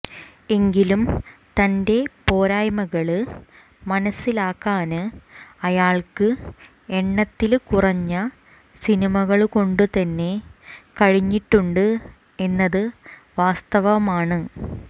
എങ്കിലും തന്റെ പോരായ്മകള് മനസിലാക്കാന് അയാള്ക്ക് എണ്ണത്തില് കുറഞ്ഞ സിനിമകള് കൊണ്ടു തന്നെ കഴിഞ്ഞിട്ടുണ്ട് എന്നത് വാസ്തവമാണ്